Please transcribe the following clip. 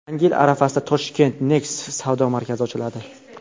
Yangi yil arafasida Toshkentda Next savdo markazi ochiladi.